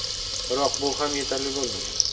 Biroq bu ham yetarli bo‘lmagan.